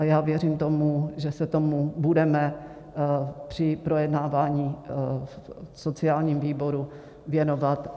A já věřím tomu, že se tomu budeme při projednávání v sociálním výboru věnovat.